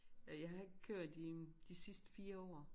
Jeg har ikke kørt i de sidste 4 år